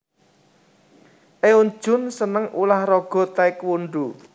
Eun Jung seneng ulah raga Tae Kwon Do